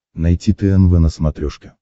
найти тнв на смотрешке